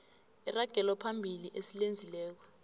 iragelo phambili esilenzileko